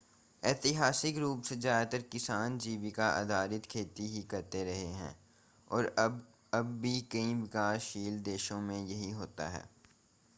ऐतिहासिक रूप से ज़्यादातर किसान जीविका आधारित खेती ही करते रहे हैं और अब भी कई विकासशील देशों में यही होता है